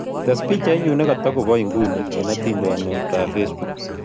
Tes' bichainyun netagoboo inguni eng' atiintyaantetap facebook